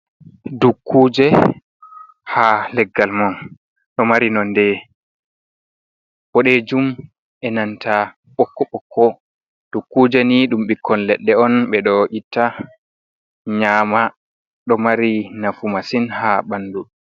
Dukkuje ha leggal mon ɗo mari nonde boɗejum e nanta bokko bokko dukkuje ni ɗum ɓikkon ledde on ɓe ɗo itta nyama ɗo mari nafu masin ha ɓandu.